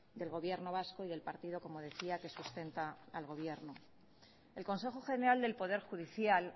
del gobierno vasco y del partido como decía que sustenta al gobierno el consejo general del poder judicial